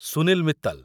Sunil Mittal